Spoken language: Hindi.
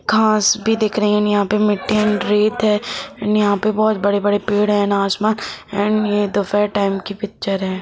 घास भी दिख रही है यहाँ पे मिटटी है रेत है एण्ड यहाँ पे बहुत बङे पेङ है एण्ड आसमान एण्ड ये दोपहर टाइम की पिक्चर है।